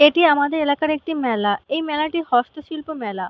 এটি আমাদের এলাকার একটি মেলা এই মেলাটি হস্তশিল্প মেলা।